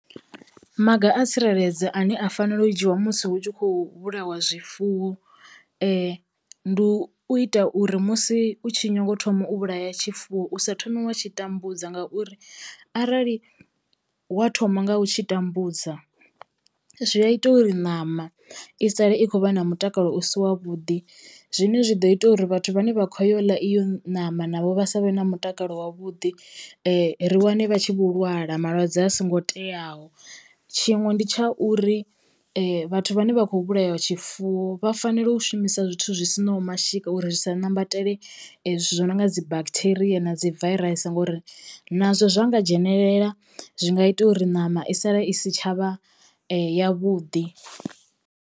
Maga a tsireledzo ane a fanela u dzhiwa musi hu tshi khou vhulaiwa zwifuwo ndi u ita uri musi u tshi nyago u thoma u vhulaya tshifuwo u sa thomi wa tshi tambudza ngauri arali wa thoma nga u tshi tambudza zwi a ita uri ṋama i sale i khou vha na mutakalo u si wa vhuḓi zwine zwi ḓo ita uri vhathu vhane vha khou yo ḽa iyo nama navho vha savhe na mutakalo wavhuḓi ri wane vha tshi vho lwala malwadze a songo teaho tshiṅwe ndi tsha uri vhathu vhane vha kho vhulaya tshifuwo vha fanela u shumisa zwithu zwi si naho mashika uri zwi sa nambatela zwithu zwi no nga dzi bacteria na dzi virus ngori nazwo zwa nga dzhenelela zwi nga ita uri ṋama i sala i si tshavha yavhuḓi.